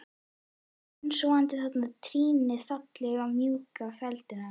Hún steinsofnaði þarna með trýnið falið í mjúkum feldinum á